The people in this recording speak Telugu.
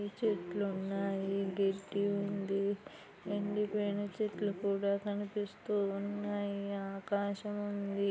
చెట్లు ఉన్నాయి గడ్డి ఉంది ఎండిపోయిన చెట్లు కూడా కనిపిస్తూ ఉన్నాయి ఆకాశం ఉంది.